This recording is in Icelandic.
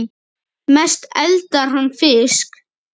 Mest eldar hann fisk.